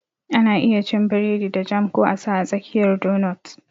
Ana iya cin biredi da jam ko a sa a tsakiyar donut